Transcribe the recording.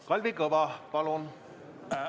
Kalvi Kõva, palun!